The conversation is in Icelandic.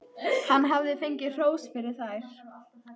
Hann hafði fengið hrós fyrir þær.